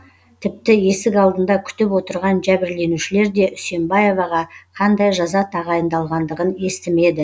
тіпті есік алдында күтіп отырған жәбірленушілер де үсембаеваға қандай жаза тағайындалғандығын естімеді